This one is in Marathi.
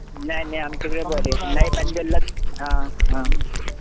नाही नाही आमच्याकडे बरे हा हा